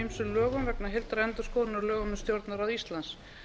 ýmsum lögum vegna heildarendurskoðunar á lögum um stjórnarráð íslands